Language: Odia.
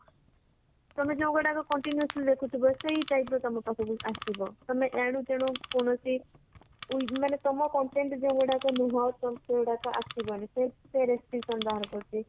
ତମେ ଯୋଉଗୁଡାକ continuously ଦେଖୁଥିବା ସେଇ type ର ତମ ପାଖକୁ ଆସିଯିବ ତମେ ଏଣୁତେଣୁ କୋଣସି ମାନେ ତମ content ଯୋଉଗୁଡାକ ନୁହ ତ ସେଇଗୁରକ ଆସିବନି ସେ ସେ restriction ବାହାର କରିଛି